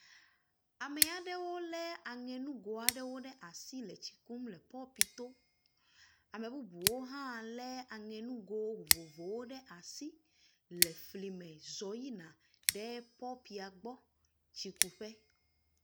Ame aɖewo le aŋenugo aɖewo ɖe asi le tsi kum le popito. Ame bubuwo hã le aŋenugo vovovowo ɖe asi le fli me zɔ̃ yina popia gbɔ tsi ku ƒe.